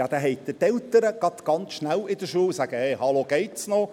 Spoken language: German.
Ja, dann haben Sie ganz schnell die Eltern in der Schule, die sagen: «Hallo, geht’s noch?